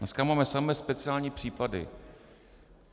Dneska máme samé speciální případy.